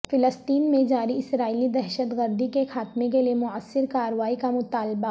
فلسطین میں جاری اسرائیلی دہشت گردی کے خاتمے کیلئے موثر کارروائی کا مطالبہ